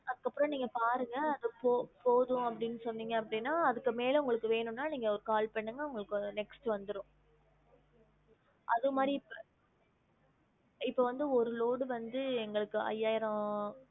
அதுக்கு அப்பறம் நீங்க பாருங்க போ~ போதும் அப்டின்னு சொன்னிங்க அப்பிடின்னா அதுக்கு மேல உங்களுக்கு வேனும்னா நீங்க call பன்னுங்க உங்களுக்கு next வந்துரும் அது மாதிரி இப் இப்போ வந்து ஒரு load வந்து எங்களுக்கு ஐய்யாயிரம்